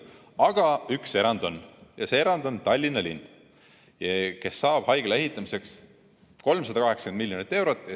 Aga üks erand on, see erand on Tallinna linn, kes saab haigla ehitamiseks 380 miljonit eurot.